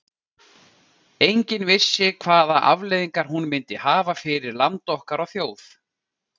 Enginn vissi hvaða afleiðingar hún myndi hafa fyrir land okkar og þjóð.